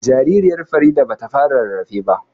Jaririyar Farida ba ta fara rarrafe ba